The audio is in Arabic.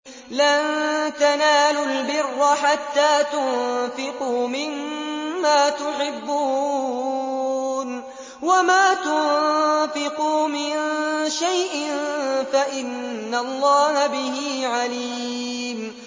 لَن تَنَالُوا الْبِرَّ حَتَّىٰ تُنفِقُوا مِمَّا تُحِبُّونَ ۚ وَمَا تُنفِقُوا مِن شَيْءٍ فَإِنَّ اللَّهَ بِهِ عَلِيمٌ